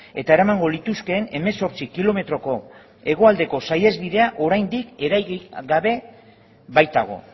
eta eramango lituzkeen hemezortzi kilometroko hegoaldeko saihesbidea oraindik eraiki gabe baitago